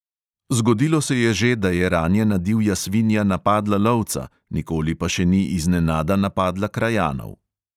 Zgodilo se je že, da je ranjena divja svinja napadla lovca, nikoli pa še ni iznenada napadla krajanov.